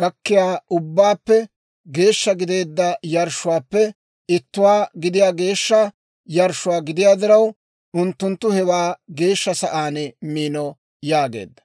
gakkiyaa ubbaappe geeshsha gideedda yarshshuwaappe ittuwaa gidiyaa geeshsha yarshshuwaa gidiyaa diraw, unttunttu hewaa geeshsha sa'aan miino» yaageedda.